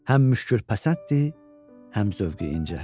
Həm müşkülpəsənddir, həm zövqü incə.